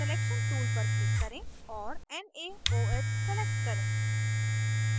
selection tool पर click करें और naoh select करें